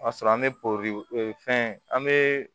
O y'a sɔrɔ an bɛ fɛn an bɛ